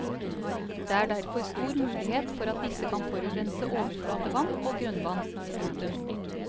Det er derfor stor mulighet for at disse kan forurense overflatevann og grunnvann. punktum